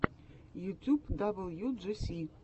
ютьюб даблюджиси